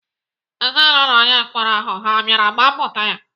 Ezinaụlọ onye mkpọrọ ahụ ha bịara gbapụta ya?